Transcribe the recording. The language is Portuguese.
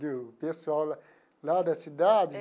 Do pessoal lá da cidade?